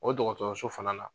O dɔgɔtɔrɔso fana na